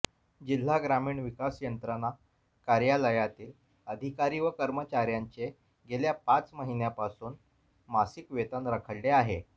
जिल्हा ग्रामीण विकास यंत्रणा कार्यालयातील अधिकारी व कर्मचार्यांचे गेल्या पाच महिन्यांपासून मासिक वेतन रखडले आहे